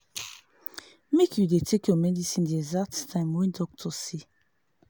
make you dey take your medicine the exact time wey doctor say.